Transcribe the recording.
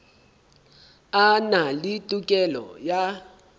a na le tokelo ya